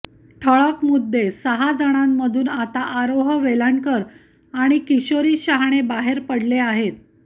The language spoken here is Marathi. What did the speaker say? ठळक मुद्देया सहा जणांमधून आता आरोह वेलणकर आणि किशोरी शहाणे बाहेर पडले आहेत